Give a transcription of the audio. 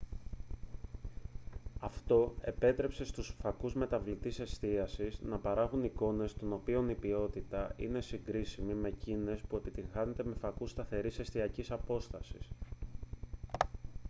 αυτό επέτρεψε στους φακούς μεταβλητής εστίασης να παράγουν εικόνες των οποίων η ποιότητα είναι συγκρίσιμη με εκείνη που επιτυγχάνεται με φακούς σταθερής εστιακής απόστασης